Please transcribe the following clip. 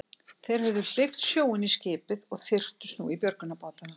Þeir höfðu hleypt sjó inn í skipið og þyrptust nú í björgunarbátana.